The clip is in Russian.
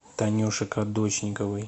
танюши кадочниковой